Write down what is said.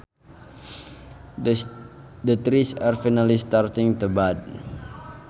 The trees are finally starting to bud